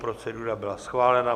Procedura byla schválena.